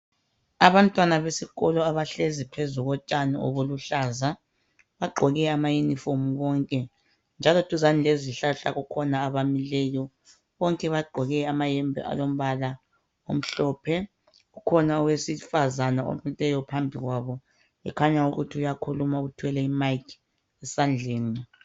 Abantwana besikolo abahlezi phezu kotshani obuluhlaza baqgoke amayunifomu bonke njalo duzane lezihlahla kukhona abamileyo, bonke baqgoke amayembe alombala omhlophe, kukhona awesifazana omileyo phambi kwabo kukhanya ukuthi uyakhuluma uthwele i mic esandleni.